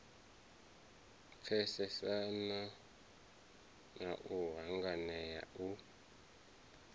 pfesesana na u hanganea u